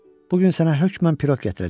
Bu gün sənə hökmən piroq gətirəcəm.